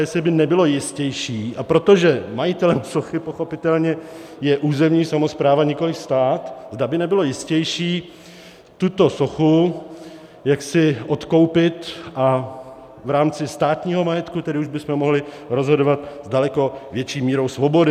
Jestli by nebylo jistější, a protože majitelem sochy pochopitelně je územní samospráva, nikoliv stát, zda by nebylo jistější tuto sochu jaksi odkoupit a v rámci státního majetku tedy už bychom mohli rozhodovat s daleko větší mírou svobody.